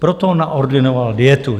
Proto naordinoval dietu.